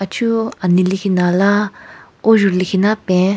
Chu anelekhinala ojhu lekhinala pen.